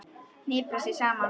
Hniprar sig saman.